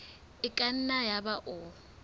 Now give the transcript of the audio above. e ka nna yaba o